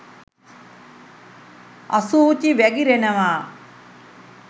අසූචි වැගිරෙනවා.